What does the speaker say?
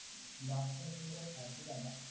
last ची त्याची गत सारखीच आहे आता